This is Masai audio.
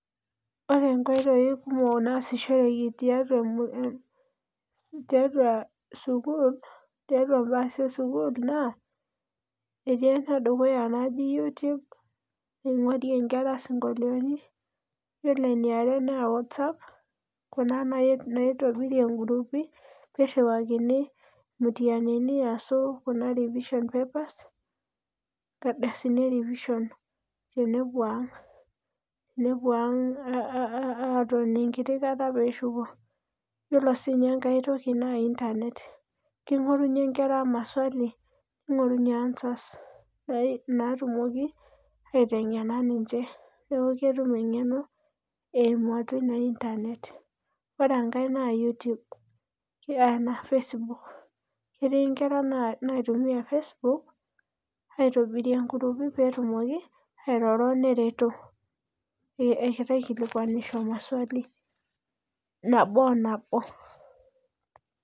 Ore nkoitoi kumok naasishoreki tiatua sukuul tiatua im'baa esukuul naa etii enedukuya naji YouTube ningurie ngera sinkolioni Ore eiare naa Whatsapp kuna naitobirie in'gruupi pirhiwakini imutianini aswa kuna kuna revisionpapers inkaldasini erivishon tenepuo ang' aatoni engiti kata peeshuko Yiolo siininye engai toki naa internet kingorunye ingera maswali ning'orunye answers naatumoki aitengena ninje peetum eng'eno eimu atua ina internet Ore engae naa YouTube anaa Facebook, ketii ingera naitumia Facebook aitobirie ingurupii peetumoki ataretoto neingorunye majibu nabo o nabo